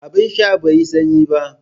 Abin sha bai yi sanyi ba